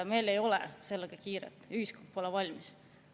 Meil ei ole sellega kiiret, ühiskond pole selleks valmis.